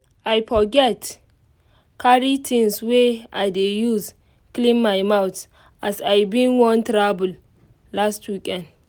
i forget carry things wey i dey use clean my mouth as i bin wan travel last weekend